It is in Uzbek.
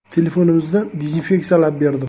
Telefonimizni dezinfeksiyalab berdim.